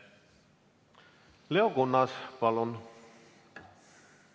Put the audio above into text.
Leo Kunnas, palun!